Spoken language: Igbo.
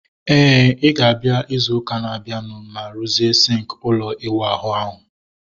Éè, I ga-abịa izu ụka na abianu ma ruzie sinki ụlọ iwu ahụ ahu